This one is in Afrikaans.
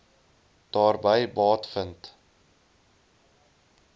daarby baat vind